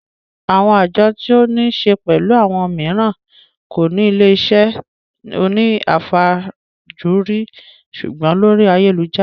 Àwọn àjọ tí ó ní se pẹ̀lú owó mìíràn kò ní ilé iṣẹ́ òní àfajúrí sùgbọ́n lórí ayélujára